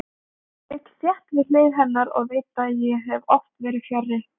Ég ligg þétt við hlið hennar og veit að ég hef oft verið fjarri.